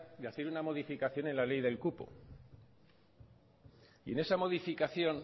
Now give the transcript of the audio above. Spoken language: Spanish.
de hacer una modificación en la ley del cupo y esa modificación